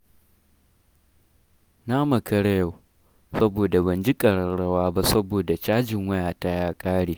Na makara yau, saboda ban ji ƙararrwa ba saboda cajin wayata ya ƙare.